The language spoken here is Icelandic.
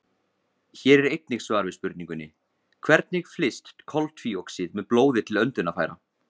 Hér er einnig svar við spurningunni: Hvernig flyst koltvíoxíð með blóði til öndunarfæra?